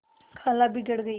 खाला बिगड़ गयीं